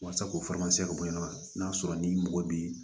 Walasa k'o ka bɔ yen nɔ n'a sɔrɔ ni mɔgɔ bi